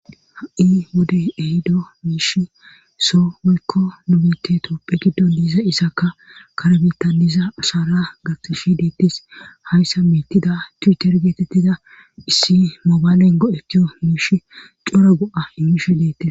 Ha'i wodey ehido miish so woykko nu biitte toopphe giddon diiza isaka kare bitaniza asara gatishi deettes hayssa miitida tuuter geetettida issi moobaaleyn go'etiyo miish cora go'a imishe deettes.